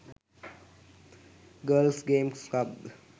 girls games club